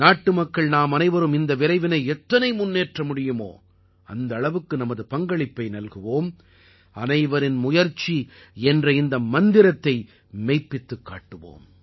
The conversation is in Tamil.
நாட்டு மக்கள் நாமனைவரும் இந்த விரைவினை எத்தனை முன்னேற்ற முடியுமோ அந்த அளவுக்கு நமது பங்களிப்பை நல்குவோம் அனைவரின் முயற்சி என்ற இந்த மந்திரத்தை மெய்ப்பித்துக் காட்டுவோம்